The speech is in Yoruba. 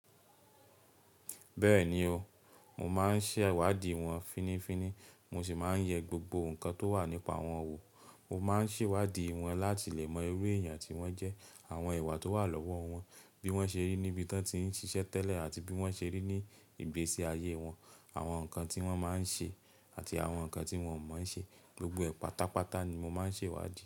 Bẹ́ẹ̀ni o, mo máa ń ṣèwádìí wọn fínífíní, mo sì máa ń yẹ gbogbo nǹkan tó wà nípa wọn wò. Mo máa ń ṣèwádìí wọn láti lè mọ irú èèyàn tí wọ́n jẹ́, àwọn ìwà tó wà lọ́wọ́ wọn, bí wọ́n ṣe rí níbi tí wọ́n ti ń ṣiṣẹ́ tẹ́lẹ̀ àti bí wọ́n ṣe rí ní ìgbésí ayé wọn, àwọn nǹkan tí wọ́n máa ń ṣe àti àwọn nǹkan tí wọ́n ò máa ń ṣe. Gbogbo ẹ̀ pátápátá ni mo máa ń ṣè wádìí.